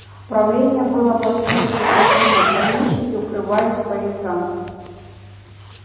правление было повсюду прекращено помещики укрывались по лесам